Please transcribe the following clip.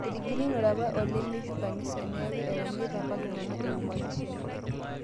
Etigilunore apa olemeishiu kanisa, neeku etanyaita apa ltung'ana epue mazishi enye